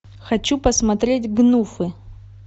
хочу посмотреть гнуфы